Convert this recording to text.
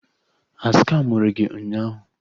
A skamụrụ gị ụnyaahụ?